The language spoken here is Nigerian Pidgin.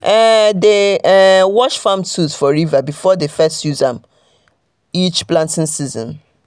dem um dey um wash farm tools for river before dem first use um am each planting season.